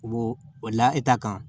U b'o o laha kan